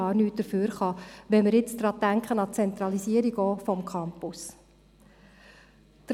Dabei ist beispielsweise an die Zentralisierung des Campus zu denken.